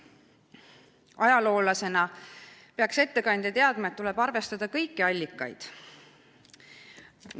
Ajaloolasena peaks ettekandja teadma, et arvestada tuleb kõiki allikaid.